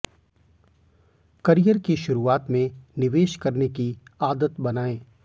career की शुरूआत में निवेश करने की आदत बनाएं